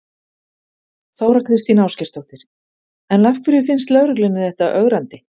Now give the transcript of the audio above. Þóra Kristín Ásgeirsdóttir: En af hverju finnst lögreglunni þetta ögrandi?